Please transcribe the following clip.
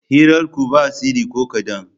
Hirarku ba tsari ko kaɗan.